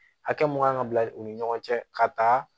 Hakɛ mun kan ka bila u ni ɲɔgɔn cɛ ka taa